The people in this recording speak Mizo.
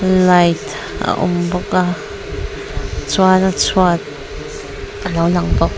light a awm bawk a chuan a chhuat alo lang bawk.